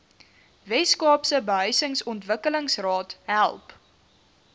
weskaapse behuisingsontwikkelingsraad help